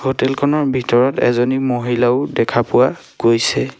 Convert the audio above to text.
Hotel খনৰ ভিতৰত এজনী মহিলাও দেখা পোৱা গৈছে।